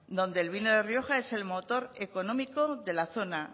donde el vino de rioja es el motor económico de la zona